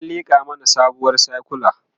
an liƙa mana sabuwar sakula